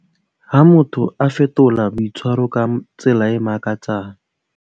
Ha motho a fetola boitshwaro ka tsela e makatsang.